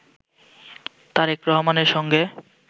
তারেক রহমানের সঙ্গে